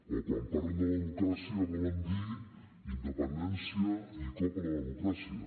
o quan parlen de democràcia volen dir independència i cop a la democràcia